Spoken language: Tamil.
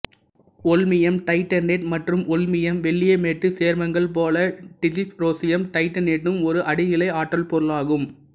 ஓல்மியம் தைட்டனேட்டு மற்றும் ஓல்மியம் வெள்ளீயமேட்டு சேர்மங்கள் போல டிசிப்ரோசியம் தைட்டனேட்டும் ஒர் அடி நிலை ஆற்றல் பொருளாகும்